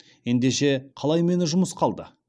ендеше қалай мені жұмысқа алды